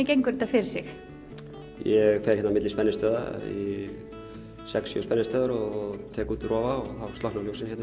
gengur þetta fyrir sig ég fer hérna á milli spennistöðva sex sjö spennistöðva og tek út rofa og þá slökkna ljósin hérna